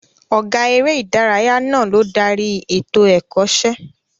Ọ̀gá eré ìdárayá náà ló darí ètò Ẹ̀kọ́ṣẹ́